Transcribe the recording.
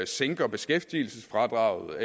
sænker beskæftigelsesfradraget